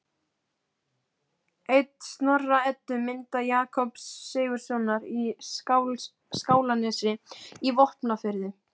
Ein Snorra-Eddu mynda Jakobs Sigurðssonar í Skálanesi í Vopnafirði